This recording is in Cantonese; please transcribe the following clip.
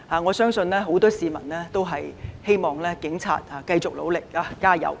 我相信很多市民也希望警察繼續努力加油。